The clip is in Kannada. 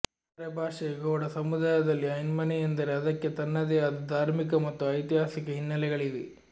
ಅರೆಭಾಷೆ ಗೌಡ ಸಮುದಾಯದಲ್ಲಿ ಐನ್ಮನೆ ಎಂದರೆ ಅದಕ್ಕೆ ತನ್ನದೇ ಆದ ಧಾರ್ಮಿಕ ಮತ್ತು ಐತಿಹಾಸಿಕ ಹಿನ್ನೆಲೆಗಳಿವೆ